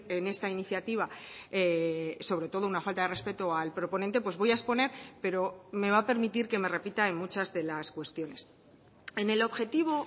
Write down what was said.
en esta iniciativa sobre todo una falta de respeto al proponente pues voy a exponer pero me va a permitir que me repita en muchas de las cuestiones en el objetivo